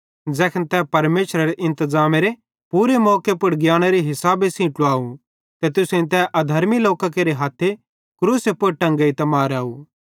ज़ैखन तै परमेशरेरे इंतज़ामेरे पूरे मौके पुड़ ज्ञानेरे हिसाबे सेइं ट्लुवाव ते तुसेईं तै अधर्मी लोकां केरे हथ्थे क्रूसे पुड़ टंगेइतां माराव